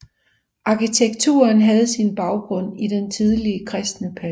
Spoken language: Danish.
Arkitekturen havde sin baggrund i den tidlige kristne periode